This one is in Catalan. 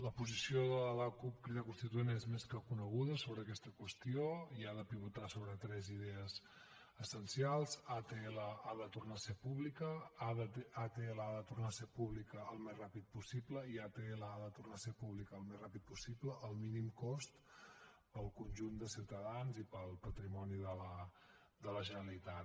la posició de la cup crida constituent és més que coneguda sobre aquesta qüestió i ha de pivotar sobre tres idees essencials atll ha de tornar a ser pública atll ha de tornar a ser pública el més ràpid possible i atll ha de tornar a ser pública el més ràpid possible al mínim cost per al conjunt de ciutadans i per al patrimoni de la generalitat